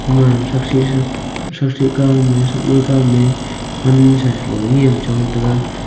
ima thakshi shi thashi kau me thak mai kau me pan sha shalo nyem chong taga.